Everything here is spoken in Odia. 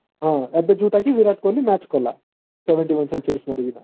ହଁ ଏବେ ଯୋଉଟା କି ବିରାଟ କୋହଲି match କଲା seventy one century କରିକିନା।